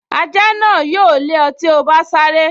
Ajá náà yóò lé ọ tí o bá sáré